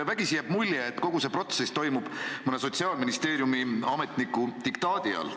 Vägisi jääb mulje, et kogu see protsess toimub mõne Sotsiaalministeeriumi ametniku diktaadi all.